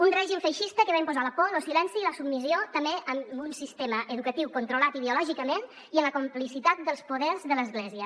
un règim feixista que va imposar la por lo silenci i la submissió també amb un sistema educatiu controlat ideològicament i amb la complicitat dels poders de l’església